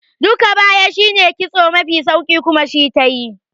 Duka baya shine kitso mafi sauki kuma shi tayi